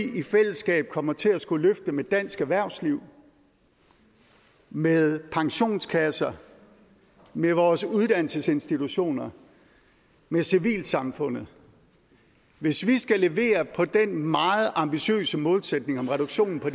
vi i fællesskab kommer til at skulle løfte med dansk erhvervsliv med pensionskasserne med vores uddannelsesinstitutioner med civilsamfundet hvis vi skal levere på den meget ambitiøse målsætning om reduktion på